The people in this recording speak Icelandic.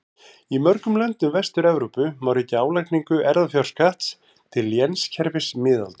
Í mörgum löndum Vestur-Evrópu má rekja álagningu erfðafjárskatts til lénskerfis miðalda.